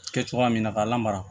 Kɛ cogoya min na k'a lamara